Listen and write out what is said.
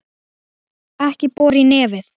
Ekki bora í nefið!